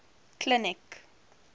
clinic